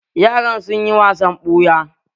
Yaran sun yi wasan ɓuya